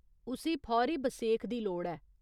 उस्सी फौरी बसेख दी लोड़ ऐ।